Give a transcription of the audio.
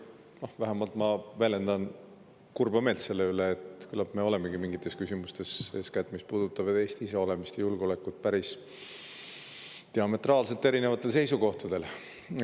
Ma väljendan vähemalt kurba meelt selle pärast, et küllap me olemegi mingites küsimustes – eeskätt nendes, mis puudutavad Eesti iseolemist ja julgeolekut – diametraalselt erinevatel seisukohtadel.